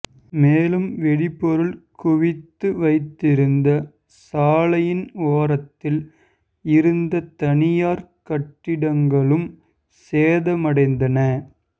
மேலும் வெடி பொருள் குவித்து வைத்திருந்த சாலையின் ஓரத்தில் இருந்த தனியார் கட்டிடங்களும் சேதமடைந்தன